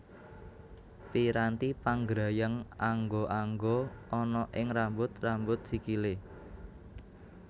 Piranti panggrayang angga angga ana ing rambut rambut sikilé